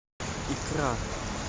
икра